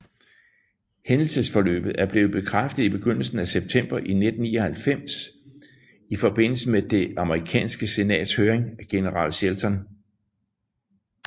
Hændelsesforløbet er blevet bekræftet i begyndelsen af september 1999 i forbindelse med det amerikanske senats høring af general Shelton